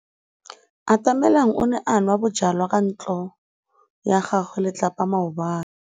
Atamelang o ne a nwa bojwala kwa ntlong ya tlelapa maobane.